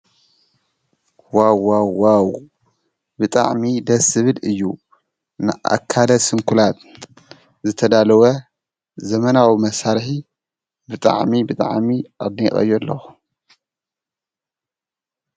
ዋው ዋው ዋው ብጣዕሚ ደስ ዝብል እዩ:: ንኣካለ ስኩላት ዝተዳለወ ዘመናዊ መሳርሒ ብጣዕሚ ብጣዕሚ ኣድኒቐዮ ኣለኹ::